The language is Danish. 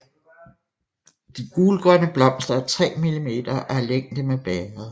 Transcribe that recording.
De gulgrønne blomster er 3 mm og af længde med bægeret